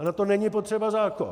A na to není potřeba zákon.